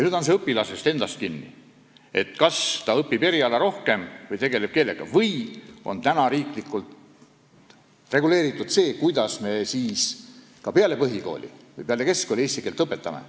Nüüd on õpilases endas kinni, kas ta õpib rohkem eriala või tegeleb keelega, või on siis ka riiklikult reguleeritud, kuidas me peale põhikooli või keskkooli eesti keelt õpetame.